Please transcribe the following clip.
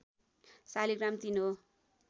शालिग्राम ३ हो